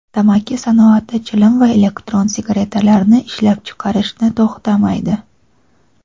tamaki sanoati chilim va elektron sigaretalarni ishlab chiqarishni to‘xtamaydi.